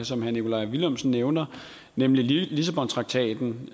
som herre nikolaj villumsen nævner nemlig lissabontraktaten